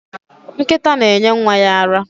Nkịta na-enye nwa ya ara.